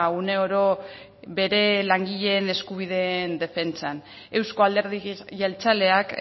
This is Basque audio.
une oro bere langileen eskubideen defentsan euzko alderdi jeltzaleak